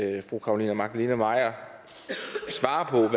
ikke fru carolina magdalene maier svarer på